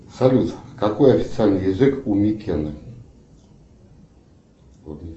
салют какой официальный язык у микены